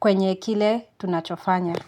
kwenye kile tunachofanya.